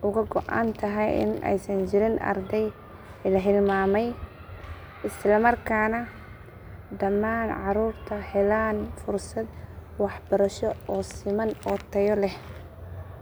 uga go’an tahay in aysan jirin arday la hilmaamay isla markaana dhammaan caruurta helaan fursad waxbarasho oo siman oo tayo leh.